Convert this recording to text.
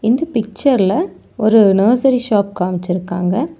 இந்த பிச்சர்ல ஒரு நர்சரி ஷாப் காமிச்சிருக்காங்க.